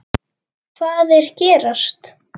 Hvað er gerast?